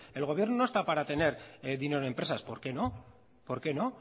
el gobierno no está para tener dinero en empresas por qué no por qué no